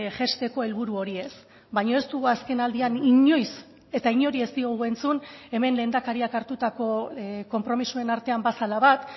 jaisteko helburu hori ez baina ez dugu azken aldian inoiz eta inori ez diogu entzun hemen lehendakariak hartutako konpromisoen artean bazela bat